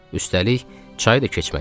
Üstəlik çay da keçməliydik.